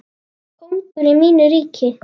Kóngur í mínu ríki.